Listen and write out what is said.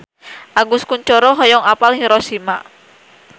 Agus Kuncoro hoyong apal Hiroshima